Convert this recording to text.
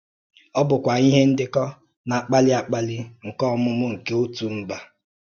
Ọ bụkwa ihe ndekọ na-akpali akpali nke ọmụmụ nke otu mba.